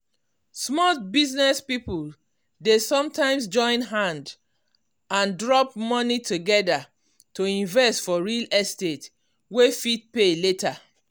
small business people dey sometimes join hand and drop money together to invest for real estate wey fit pay later.